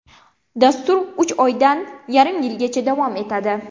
Dastur uch oydan yarim yilgacha davom etadi.